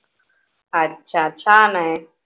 अच्छा छान आहे.